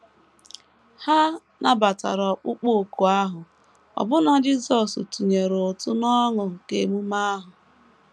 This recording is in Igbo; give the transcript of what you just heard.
Ha nabatara ọkpụkpọ òkù ahụ, ọbụna Jisọs tụnyere ụtụ n’ọṅụ nke ememe ahụ.